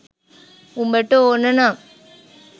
උඹට ඕන නම්